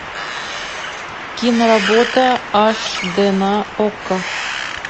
киноработа аш д на окко